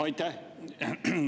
Aitäh!